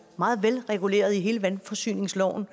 meget velreguleret i vandforsyningsloven